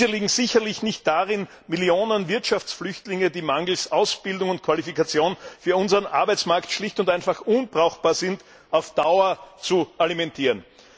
Diese liegen sicherlich nicht darin, Millionen Wirtschaftsflüchtlinge, die mangels Ausbildung und Qualifikation für unseren Arbeitsmarkt schlicht und einfach unbrauchbar sind, auf Dauer zu alimentieren.